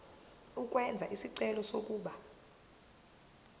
ukwenza isicelo sokuba